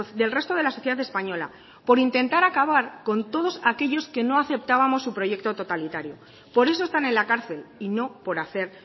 del resto de la sociedad española por intentar acabar con todos aquellos que no aceptábamos su proyecto totalitario por eso están en la cárcel y no por hacer